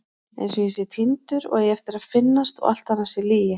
Einsog ég sé týndur og eigi eftir að finnast og allt annað sé lygi.